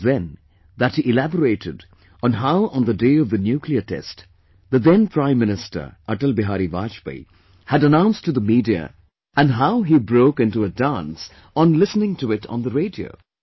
It was then that he elaborated on how on the day of the nuclear test, the then Prime Minister Atal Bihari Vajpayee had announced to the Media and how he broke into a dance on listening to it on the radio